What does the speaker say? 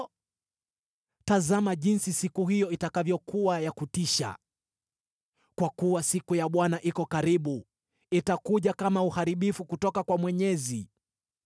Ole kwa siku hiyo! Kwa kuwa siku ya Bwana iko karibu; itakuja kama uharibifu kutoka kwa Mwenyezi.